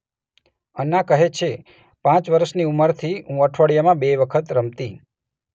અન્ના કહે છેઃ પાંચ વર્ષની ઉંમરથી હું અઠવાડિયામાં બે વખત રમતી.